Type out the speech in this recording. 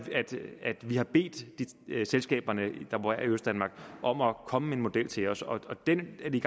at vi har bedt selskaberne der opererer i østdanmark om at komme med en model til os og den er vi